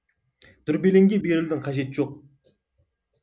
дүрбелеңге берілудің қажеті жоқ